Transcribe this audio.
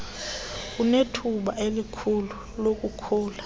anethuba elikhulu lokukhula